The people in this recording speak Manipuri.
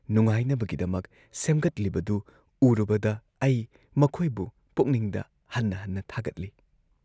ꯅꯨꯡꯉꯥꯏꯅꯕꯒꯤꯗꯃꯛ ꯁꯦꯝꯒꯠꯂꯤꯕꯗꯨ ꯎꯔꯨꯕꯗ ꯑꯩ ꯃꯈꯣꯏꯕꯨ ꯄꯨꯛꯅꯤꯡꯗ ꯍꯟꯅ ꯍꯟꯅ ꯊꯥꯒꯠꯂꯤ ꯫